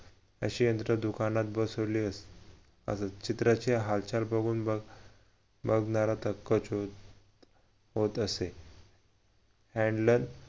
अशी यंत्र दुकानात बसवली होती अजून चित्राची हालचाल बघून मग बघबघणारा तर होत असे